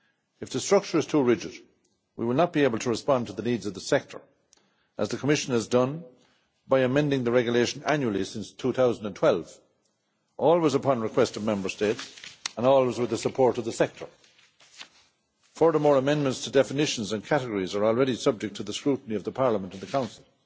If the structure is too rigid we will not be able to respond to the needs of the sector as the Commission has done by amending the Regulation annually since 2012, always upon request of Member States and always with the support of the sector. Furthermore, amendments to definitions and categories are already subject to the scrutiny of the Parliament and the Council.